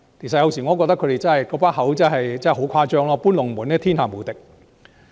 有時候，我覺得他們說的話真的十分誇張，"搬龍門"是天下無敵。